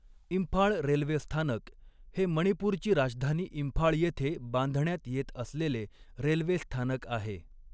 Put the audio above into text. Imphal railway स्थानक हे मणिपूरची राजधानी इंफाळ येथे बांधण्यात येत असलेले रेल्वे स्थानक आहे.